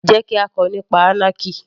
Jẹ́ kí á kọ nípa anarchy